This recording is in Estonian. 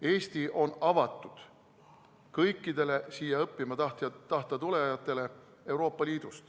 Eesti on avatud kõikidele siia Euroopa Liidust õppima tulijatele.